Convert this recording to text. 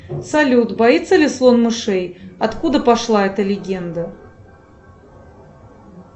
салют боится ли слон мышей откуда пошла эта легенда